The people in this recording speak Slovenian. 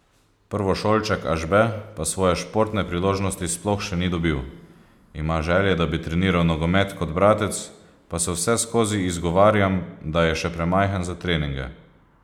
Prvošolček Ažbe pa svoje športne priložnosti sploh še ni dobil: 'Ima želje, da bi treniral nogomet kot bratec, pa se vseskozi izgovarjam, da je še premajhen za treninge.